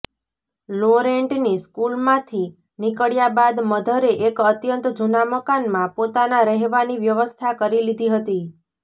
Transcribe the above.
લોરેંટની સ્કૂલમાંથી નીકળ્યા બાદ મધરે એક અત્યંત જૂના મકાનમાં પોતાના રહેવાની વ્યવસ્થા કરી લીધી હતી